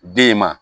Den ma